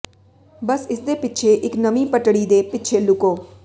ਬਸ ਇਸਦੇ ਪਿੱਛੇ ਇੱਕ ਨਵੀਂ ਪਟੜੀ ਦੇ ਪਿੱਛੇ ਲੁਕੋ